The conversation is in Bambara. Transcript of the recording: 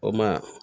O ma